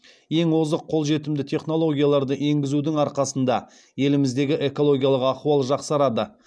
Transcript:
ең озық қолжетімді технологияларды енгізудің арқасында еліміздегі экологиялых ахуал жақсарады